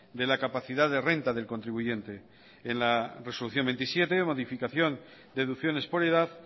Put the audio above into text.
de la capacidad de renta del contribuyente en la resolución veintisiete modificación deducciones por edad